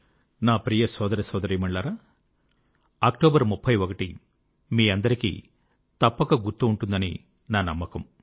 నా ప్రియ సోదరసోదరీమణులారా అక్టోబర్ 31 మీకందరికీ తప్పక గుర్తు ఉంటుందని నా నమ్మకం